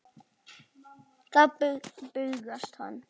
Þá bugast hann.